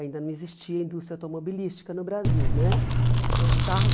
Ainda não existia indústria automobilística no Brasil né. Então os carros